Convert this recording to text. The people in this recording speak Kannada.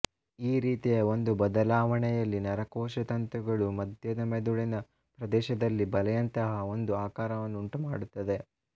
ಈ ರೀತಿಯ ಒಂದು ಬದಲಾವಣೆಯಲ್ಲಿ ನರಕೋಶತಂತುಗಳು ಮಧ್ಯದ ಮೆದುಳಿನ ಪ್ರದೇಶದಲ್ಲಿ ಬಲೆಯಂತಹ ಒಂದು ಆಕಾರವನ್ನು ಉಂಟುಮಾಡುತ್ತವೆ